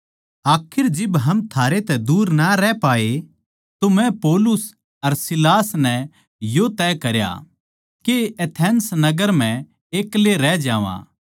आखिर जिब हम थारे तै दूर ना रह पाए तो मै पौलुस अर सीलास नै यो तय करया के एथेंस नगर म्ह एक्ले रह जावां